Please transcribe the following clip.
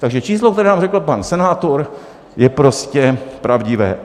Takže číslo, které nám řekl pan senátor, je prostě pravdivé.